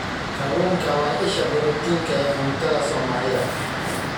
Kalluunku waa isha borotiinka ee cuntada Somalida.